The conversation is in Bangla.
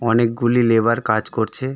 অনেকগুলি লেবার কাজ করছে।